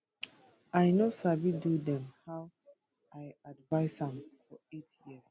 i no sabi do dem how i advise am for eight years